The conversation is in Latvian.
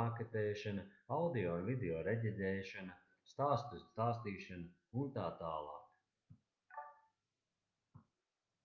maketēšana audio un videorediģēšana stāstu stāstīšana utt.